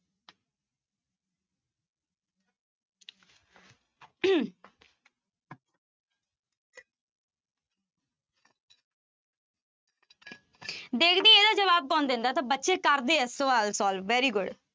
ਦੇਖਦੀ ਹਾਂ ਇਹਦਾ ਜਵਾਬ ਕੌਣ ਦਿੰਦਾ ਤਾਂ ਬੱਚੇ ਕਰਦੇ ਆ ਸਵਾਲ solve, very good